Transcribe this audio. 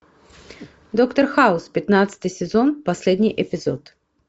доктор хаус пятнадцатый сезон последний эпизод